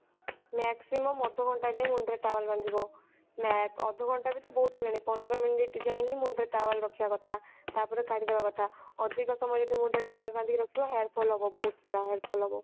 maximum ଅଧଘଣ୍ଟା ଯାଏଁ ମୁଣ୍ଡ ରେ towel ବାନ୍ଧିବ ନା ଅଧଘଣ୍ଟା ବି ତ ବହୁତ ହେଇଗଲାଣି ପନ୍ଦର minute ଯାଏଁ ହିଁ ମୁଣ୍ଡ ରେ towel ରଖିବା କଥା ତାପରେ କାଢି ଦବା କଥା ଅଧିକ ସମୟ ଯଦି ମୁଣ୍ଡ ରେ towel ବାନ୍ଧିକି ରଖିବ ତାହେଲେ hair fall ହବ ବହୁତ ସାରା hair fall ହବ